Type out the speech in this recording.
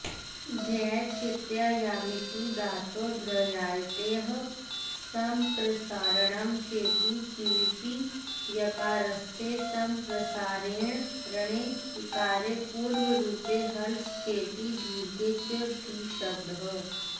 ध्यै चिन्तायामिति धातोध्र्यायतेः सम्प्रसारणं चेति क्विपि यकारस्य सम्प्रसारणे इकारे पूर्वरूपे हलश्चेति दीर्घे च धीशब्दः